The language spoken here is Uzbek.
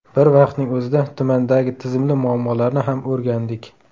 Bir vaqtning o‘zida tumandagi tizimli muammolarni ham o‘rgandik.